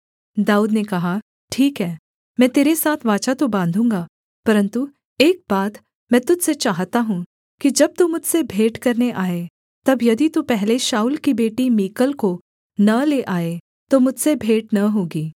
दाऊद ने कहा ठीक है मैं तेरे साथ वाचा तो बाँधूँगा परन्तु एक बात मैं तुझ से चाहता हूँ कि जब तू मुझसे भेंट करने आए तब यदि तू पहले शाऊल की बेटी मीकल को न ले आए तो मुझसे भेंट न होगी